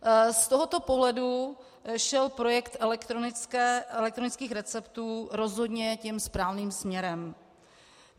Z tohoto pohledu šel projekt elektronických receptů rozhodně tím správným směrem.